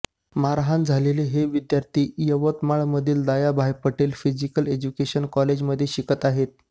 मारहाण झालेले हे विद्यार्थी यवतमाळमधील दयाभाई पटेल फिजीकल एज्युकेशन कॉलेजमध्ये शिकत आहेत